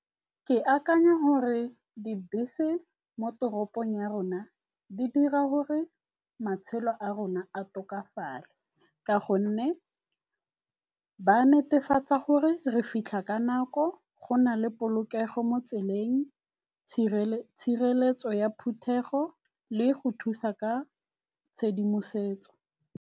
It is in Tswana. Ke akanya gore dibese mo toropong ya rona di dira gore matshelo a rona a tokafale ka gonne ba netefatsa gore re fitlha ka nako, go na le polokego mo tseleng, tshireletso ya phuthego le go thusa ka tshedimosetso.